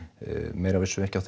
meira vissum við ekki á